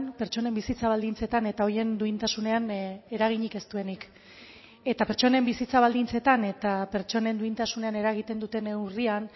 pertsonen bizitza baldintzetan eta horien duintasunean eraginik ez duenik eta pertsonen bizitza baldintzetan eta pertsonen duintasunean eragiten duten neurrian